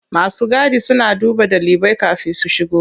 Masu gadi suna duba ɗalibai kafin su shigo.